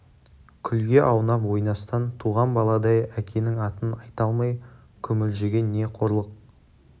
күлге аунап ойнастан туған баладай әкенің атын айта алмай күмілжіген не қорлық